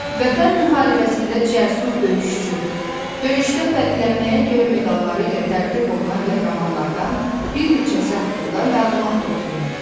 Vətən müharibəsində cəsur döyüşçü, döyüşdə fərqlənməyə görə medalları ilə təltif olunan qəhrəmanlardan bir neçəsi haqqında məlumat toplayın.